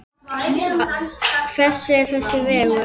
Þetta er ekki góð þróun.